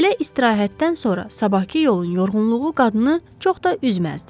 Belə istirahətdən sonra sabahkı yolun yorğunluğu qadını çox da üzməzdi.